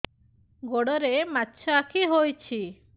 ଗୋଡ଼ରେ ମାଛଆଖି ହୋଇଛି